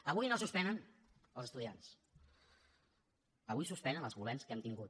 avui no suspenen els estudiants avui suspenen els governs que hem tingut